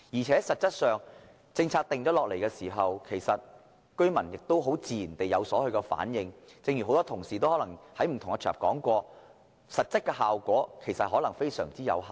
實際上，在制訂政策後，居民自然會有所反應；正如很多同事在不同場合已提過，這做法的實際效果可能非常有限。